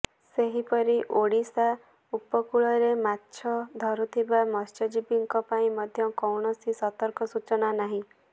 ସେହିପରି ଓଡ଼ିଶା ଉପକୂଳରେ ମାଛ ଧରୁଥିବା ମତ୍ସ୍ୟଜୀବୀଙ୍କ ପାଇଁ ମଧ୍ୟ କୌଣସି ସତର୍କ ସୂଚନା ନାହିଁ